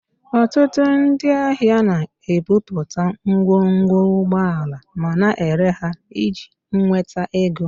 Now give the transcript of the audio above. Ọtụtụ ndị ahịa na-ebubata ngwongwo ụgbọala ma na-ere ha iji nweta ego